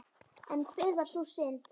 En hver var sú synd?